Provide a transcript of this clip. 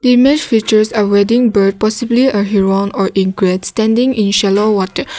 image features a wedding bird possibly a heroine standing chalo water